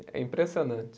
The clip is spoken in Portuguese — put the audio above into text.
É impressionante.